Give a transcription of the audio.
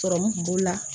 Sɔrɔmu kun b'o la